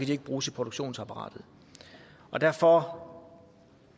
de ikke bruges i produktionsapparatet derfor